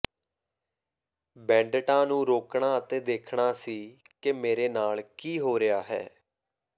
ਬੈਂਡਟਾਂ ਨੂੰ ਰੋਕਣਾ ਅਤੇ ਦੇਖਣਾ ਸੀ ਕਿ ਮੇਰੇ ਨਾਲ ਕੀ ਹੋ ਰਿਹਾ ਹੈ